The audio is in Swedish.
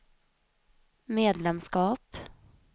medlemskap